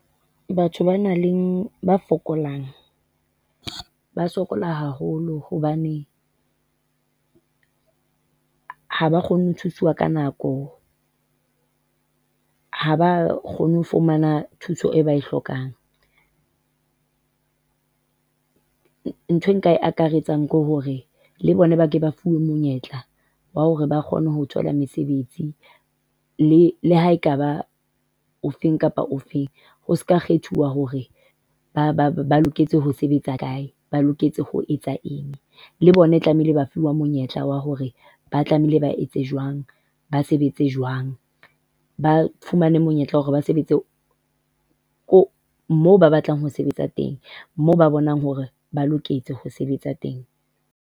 Batho ba nang le ba fokolang ba sokola haholo hobane ha ba kgone ho thuswa ka nako, ha ba kgone ho fumana thuso e ba e hlokang. Nthwe e nka e akaretsang ke hore le bona ba ke ba fuwe monyetla wa hore ba kgone ho thola mesebetsi le ha ekaba o fe kapa o fe. Ho seka kgethuwa hore ba ba ba loketse ho sebetsa kae, ba loketse ho etsa eng le bone tlamehile, ba fuwa monyetla wa hore ba tlamehile ba etse jwang. Ba sebetse jwang, ba fumane monyetla hore ba sebetse ko moo ba batlang ho sebetsa teng, moo ba bonang hore ba loketse ho sebetsa teng.